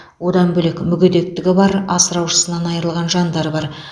одан бөлек мүгедектігі бар асыраушысынан айырылған жандар бар